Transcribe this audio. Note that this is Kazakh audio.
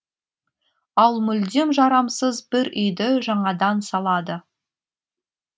ал мүлдем жарамсыз бір үйді жаңадан салады